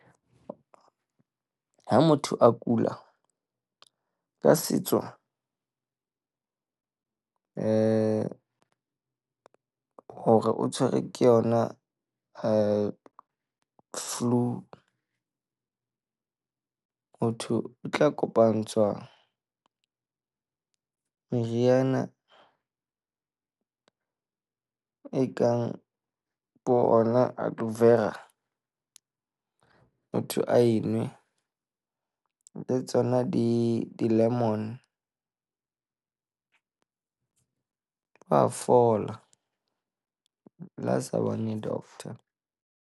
Ha motho a kula ka setso hore o tshwerwe ke yona flu, ho thwe o tla kopantshwa meriana ekang bona aloevera motho a e nwe. Le tsona di di-lemon, wa fola le ha sa bone doctor.